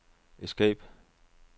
escape